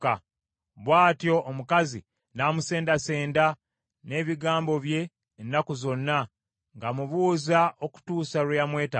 Bw’atyo omukazi n’amusendasendanga n’ebigambo bye ennaku zonna ng’amubuuza okutuusa lwe yamwetamwa.